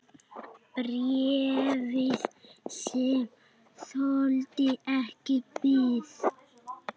Bréfið, sem þoldi ekki bið